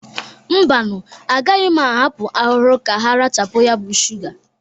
Mbanụ, agaghị m ahapụ arụrụ ka ha rachapụ ya bụ shụga.